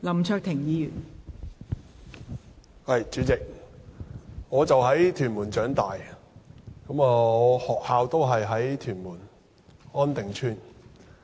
代理主席，我在屯門區長大，就讀的學校亦位於屯門安定邨。